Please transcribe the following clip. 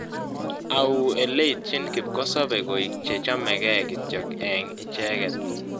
Au ileityin kipkosobei koiik che chamegee kityo eng' icheget